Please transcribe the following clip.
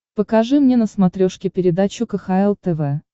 покажи мне на смотрешке передачу кхл тв